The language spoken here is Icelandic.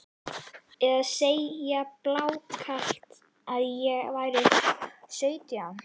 Eða segja blákalt að ég væri sautján?